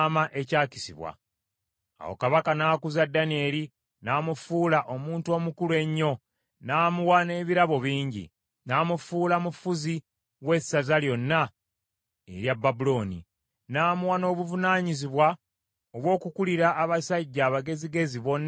Awo kabaka n’akuza Danyeri n’amufuula omuntu omukulu ennyo, n’amuwa n’ebirabo bingi. N’amufuula mufuzi w’essaza lyonna erya Babulooni, n’amuwa n’obuvunaanyizibwa obw’okukulira abasajja abagezigezi bonna ab’e Babulooni.